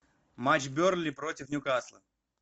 матч бернли против ньюкасла